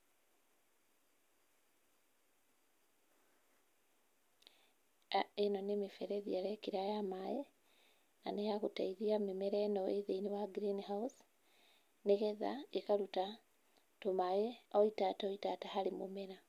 Ĩno nĩ mĩberethi arekĩra ya maaĩ, na nĩ ya gũteithia mĩmera ĩno ĩ thĩiniĩ wa greenhouse, nĩgetha ĩkaruta tũmaaĩ o itata o ĩtata harĩ mũmera.